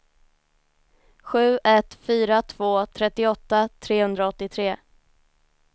sju ett fyra två trettioåtta trehundraåttiotre